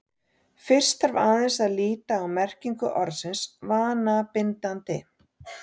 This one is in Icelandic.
fyrst þarf aðeins að líta á merkingu orðsins „vanabindandi“